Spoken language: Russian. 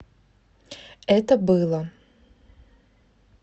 это было